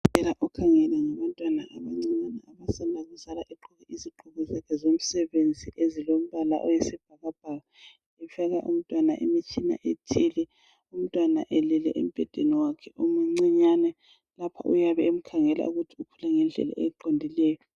Udokotela okhangela ngabantwana abancane egqoke izigqoko zakhe imitshina ethile lapho umntwana uyabe elele embhedeni wakhe omcinyane lapho ayabe emkhangela ukuthi ukhula ngendlela eqondileyo.